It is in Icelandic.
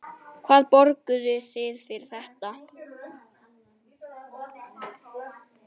Hvað borguðuð þið fyrir þetta?